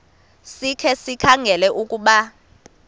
sikhe sikhangele ukuba